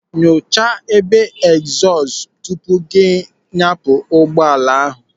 Nyocha ebe egzọọst tupu gị anyapụ ụgbọala ahụ.